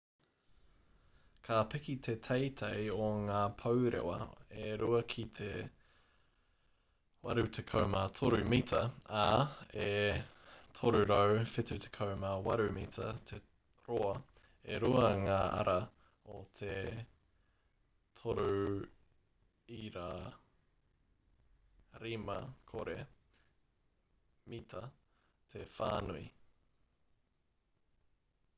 ka piki te teitei o ngā pourewa e rua ki te 83 mita ā e 378 mita te roa e rua ngā ara o te 3.50 m te whānui